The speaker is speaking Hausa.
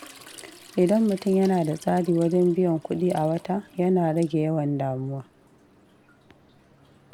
Idan mutum yana da tsari wajen biyan kuɗi a wata, yana rage yawan damuwa.